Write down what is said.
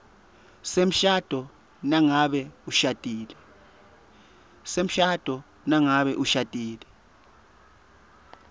semshado nangabe ushadile